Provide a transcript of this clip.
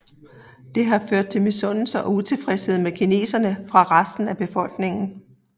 Det har ført til misundelse og utilfredshed med kineserne fra resten af befolkningen